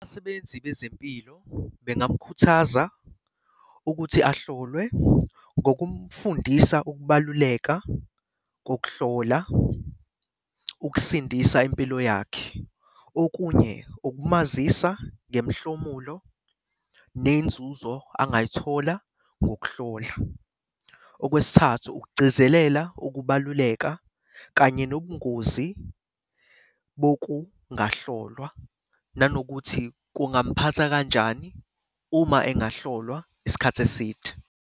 Abasebenzi bezempilo bengamkhuthaza ukuthi ahlolwe ngokumfundisa ukubaluleka kokuhlola, ukusindisa impilo yakhe. Okunye, ukumazisa ngemihlomulo nenzuzo angayithola ngokuhlola. Okwesithathu, ukugcizelela ukubaluleka kanye nobungozi bokungahlolwa, nanokuthi kungamuphatha kanjani uma engahlolwa isikhathi eside.